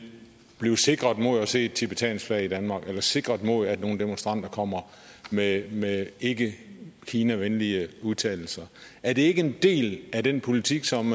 blive sikret mod at se et tibetansk flag i danmark eller sikret mod at nogle demonstranter kommer med med ikke kinavenlige udtalelser er det ikke en del af den politik som